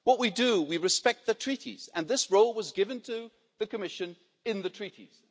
What we do is we respect the Treaties and this role was given to the Commission in the Treaties.